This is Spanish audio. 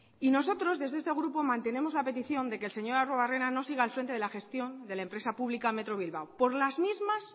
y nosotros desde este grupo mantenemos la petición de que el señor arruebarrena no siga al frente de la gestión de la empresa pública metro bilbao